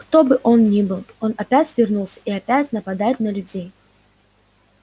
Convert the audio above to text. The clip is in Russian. кто бы он ни был он опять вернулся и опять нападает на людей